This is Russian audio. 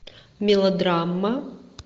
мелодрама